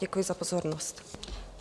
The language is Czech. Děkuji za pozornost.